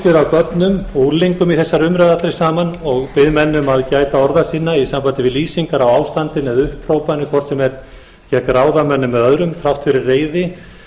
börnum og unglingum í þessari umræðu allri saman og bið menn um að gæta orða sinna í sambandi við lýsingar á ástandinu eða upphrópanir hvort sem er gegn ráðamönnum eða öðrum þrátt fyrir reiði